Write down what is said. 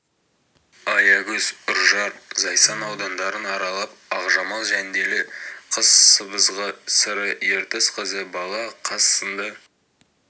аягөз үржар зайсан аудандарын аралап ақжамал жәнделі қыз сыбызғы сыры ертіс қызы бала қаз сынды